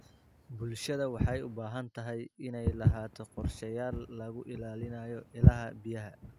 Bulshada waxay u baahan tahay inay lahaato qorshayaal lagu ilaalinayo ilaha biyaha.